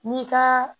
N'i ka